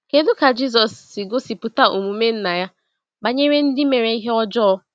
Kedu ka Jisọs siri gosipụta omume Nna ya banyere ndị mere ihe ọjọọ?